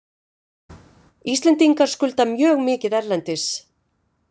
Íslendingar skulda mjög mikið erlendis.